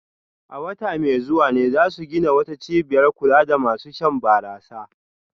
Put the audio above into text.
A wata mai zuwa ne za su gina wata cibiyar kula da masu shan barasa